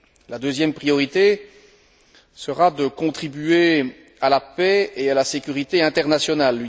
La deuxième priorité sera de contribuer à la paix et à la sécurité internationale.